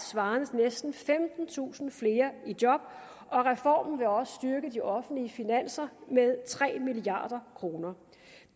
svarende til næsten femtentusind flere i job og reformen vil også styrke de offentlige finanser med tre milliard kroner